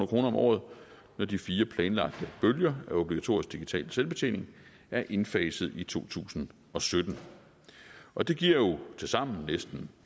kroner om året når de fire planlagte bølger af obligatorisk digital selvbetjening er indfaset i to tusind og sytten og det giver jo tilsammen næsten